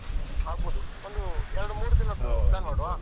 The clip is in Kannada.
ಆಗ್ಬೋದು ಒಂದು ಎರಡು ಮೂರು ದಿನದ್ದು plan ಮಾಡುವಾ?